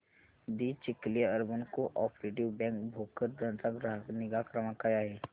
दि Chikhli urban cooperative bank Bhokardan चा ग्राहक निगा क्रमांक काय आहे